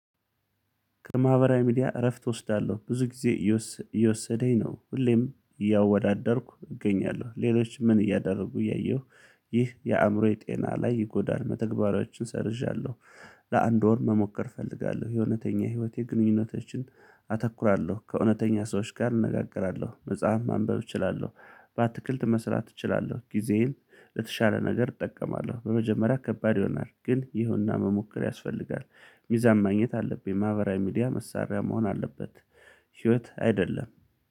ከማህበራዊ ሚዲያ እረፍት እወስዳለሁ ብዙ ጊዜ። እየወሰደኝ ነው ሁሌም እያወዳደርኩ እገኛለሁ ሌሎች ምን እያደረጉ እያየሁ። ይህ የአእምሮዬ ጤና ላይ ይጎዳል መተግበሪያዎችን ሰርዣለሁ። ለአንድ ወር መሞከር እፈልጋለሁ የእውነተኛ ህይወት የግንኙነቶችን። አተኩራለሁ ከእውነተኛ ሰዎች ጋር እነጋገራለሁ መጽሐፍ ማንበብ እችላለሁ። በአትክልት መስራት እችላለሁ ጊዜዬን ለተሻለ ነገር እጠቀማለሁ። በመጀመሪያ ከባድ ይሆናል ግን ይሁንና መሞከር ያስፈልጋል። ሚዛን ማግኘት አለብኝ ማህበራዊ ሚዲያ መሳሪያ መሆን አለበት። ህይወት አይደለም